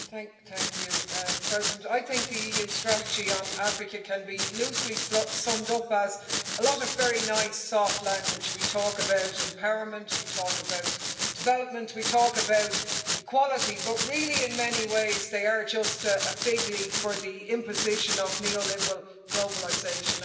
Madam President, I think the EU strategy on Africa can be loosely summed up as a lot of very nice soft language we talk about empowerment, we talk about development, we talk about equality but really in many ways they are just a figleaf for the imposition of neoliberal globalisation.